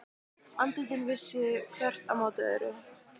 Andlitin vissu hvert á móti öðru.